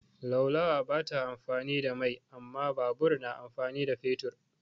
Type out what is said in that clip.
Laulawa ba ta amfani da mai amma babur na amfani da fetur.